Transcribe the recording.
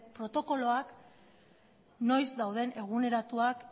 protokoloak noiz dauden eguneratuak